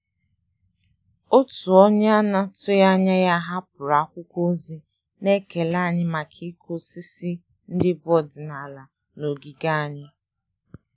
Òtù ónyé nà-àtụ́ghị́ ányà yá hàpụ́rụ̀ ákwụ́kwọ́ ózì nà-ékélé ànyị́ màkà ị́kụ́ ósísí ndị́ bù ọ́dị́nàlà nà ògígè ànyị́.